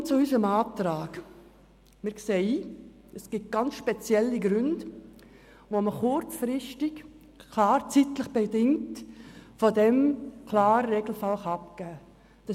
Nun zu unserem Antrag: Wir sehen es ein, es gibt ganz spezielle Gründe, um kurzzeitig von dieser Regel abzuweichen.